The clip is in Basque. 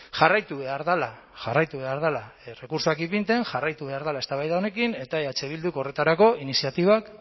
jarraitu behar dela jarraitu behar dela errekurtsoak ipintzen jarraitu behar dela eztabaida honekin eta eh bilduk horretarako iniziatibak